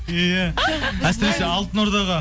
иә әсіресе алтын ордаға